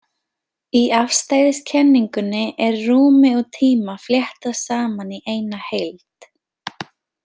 Í afstæðiskenningunni er rúmi og tíma fléttað saman í eina heild.